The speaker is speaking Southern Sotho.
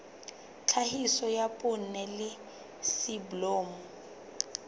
tlhahiso ya poone le soneblomo